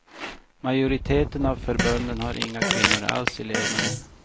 Majoriteten av förbunden har inga kvinnor alls i ledningen.